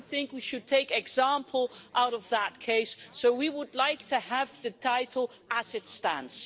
I don't think we should take an example out of that case, so we would like to have the title as it stands.